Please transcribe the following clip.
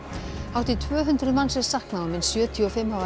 hátt í tvö hundruð manns er saknað og minnst sjötíu og fimm hafa